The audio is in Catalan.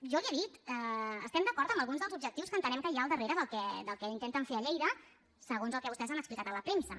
jo li ho he dit estem d’acord amb alguns dels objectius que entenem que hi ha al darrere del que intenten fer a lleida segons el que vostès han explicat a la premsa